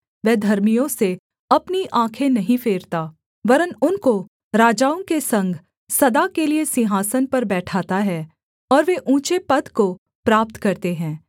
वह धर्मियों से अपनी आँखें नहीं फेरता वरन् उनको राजाओं के संग सदा के लिये सिंहासन पर बैठाता है और वे ऊँचे पद को प्राप्त करते हैं